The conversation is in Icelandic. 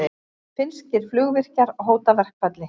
Finnskir flugvirkjar hóta verkfalli